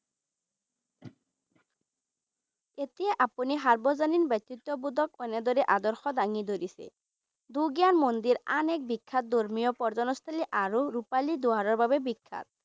এতিয়া আপুনি সাৰ্বজনীন ব্যক্তিত্ববোধক এনেদৰে আদৰ্শ দাঙি ধৰিছে দুৰ্গাৰ মন্দিৰ আন এক বিখ্যাত ধৰ্মীয় পৰ্যটনস্থলী আৰু ৰূপালী দুৱাৰৰ বাবে বিখ্যাত।